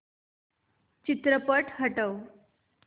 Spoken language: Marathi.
चित्रपट हटव